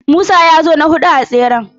Musa ya zo na huɗu a tseren.